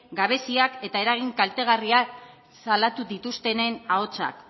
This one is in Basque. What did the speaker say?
gabeziak eta eragin kaltegarriak salatu dituztenen ahotsak